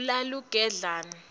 kalugedlane